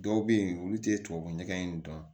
Dɔw bɛ yen olu tɛ tubabu ɲɛgɛn in dɔn